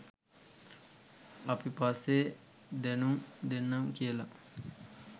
අපි පස්සේ දැනුම් දෙන්නම් කියලා